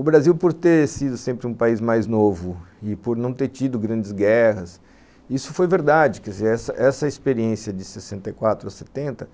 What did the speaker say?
O Brasil, por ter sido sempre um país mais novo e por não ter tido grandes guerras, isso foi verdade, quer dizer, essa essa experiência de sessenta ou setenta,